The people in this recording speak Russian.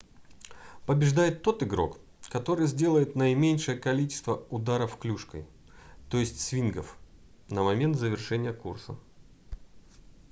побеждает тот игрок который сделает наименьшее количество ударов клюшкой то есть свингов на момент завершения курса